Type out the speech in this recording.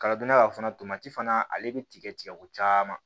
Kala donna ka fana fana ale bɛ tigɛ tigɛ ko caman